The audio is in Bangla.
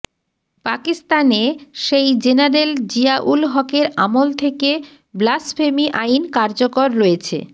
পাকিস্তানে সেই জেনারেল জিয়াউল হকের আমল থেকে ব্লাসফেমি আইন কার্যকর রয়েছে